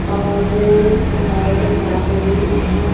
और पहाड़ों पे घास उगी हुई है।